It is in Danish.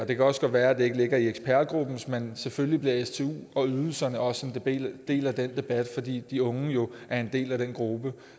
det kan også godt være at det ikke ligger i ekspertgruppen men selvfølgelig bliver stu og ydelserne også en del af den debat fordi de unge jo er en del af den gruppe